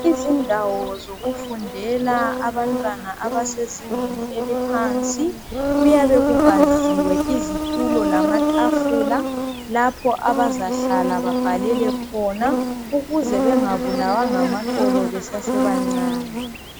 Izindawo zokufundela abantwana abasezingeni eliphansi, kuyabe kubaziwe izitulo lamatafula lapho abazahlala babhalele khona ukuze bengabulawa ngamaqolo besesebancane.